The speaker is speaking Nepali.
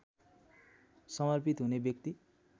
समर्पित हुने व्यक्ति